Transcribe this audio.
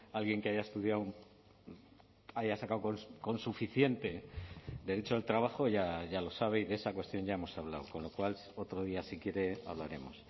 alguien que haya estudiado haya sacado con suficiente derecho el trabajo ya lo sabe y de esa cuestión ya hemos hablado con lo cual otro día si quiere hablaremos